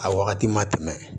A wagati ma tɛmɛ